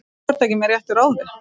Þú ert ekki með réttu ráði.